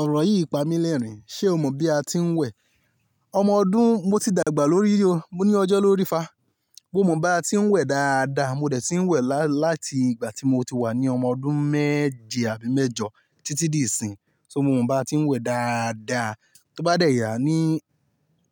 Ọ̀rọ̀ yìí pa mi lẹ́rìn-ín. Ṣé o mọ̀ bí a ti ń wẹ̀? Ọmọ ọdún mo ti dàgbà lórí o, mo ní ọjọ́ lọ rí fá. Mo mọ̀ bí a ti ń wẹ̀ dáadáa. Mo dẹ̀ ti ń wẹ̀ láti ìgbà tí mo ti wà ní ọmọ ọdún méje àbí mẹ́jọ títí di ìsìn. So mo mọ̀ bí a ti ń wẹ̀ dáadáa. Tó bá dẹ̀ yà, ní,